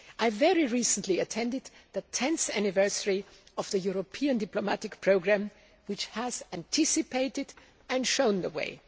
I very recently attended the 10th anniversary of the European diplomatic programme, which has anticipated and shown the way.